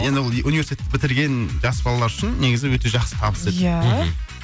енді ол ы университет бітірген жас балалар үшін негізі өте жақсы табыс еді иә мхм